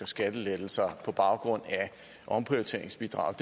skattelettelser for omprioriteringsbidraget